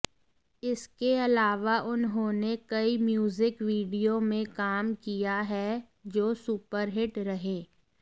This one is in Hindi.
इसके अलावा उन्होंने कई म्यूजिक वीडियो में काम किया है जो सुपरहिट रहे